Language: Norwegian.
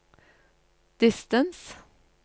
distance